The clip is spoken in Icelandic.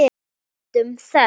Njótum þess.